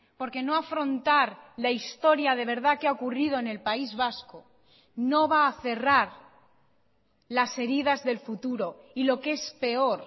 porque no afrontar la historia de verdad que ha ocurrido en el país vasco no va a cerrar las heridas del futuro y lo que es peor